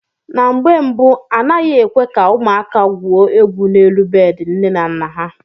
Na mgbe mbu, a naghị ekwe ka ụmụaka gwuo egwu n'elu bedị nne na nna ha.